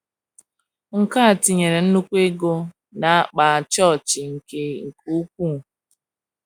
Nke a tinyere nnùkwu ego n'akpa chọọchị nke nke ukwuu.